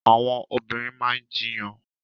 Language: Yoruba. Àwọn obìnrin maa ń jíyàn